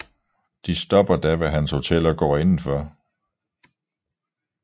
De stopper da ved hans hotel og går indenfor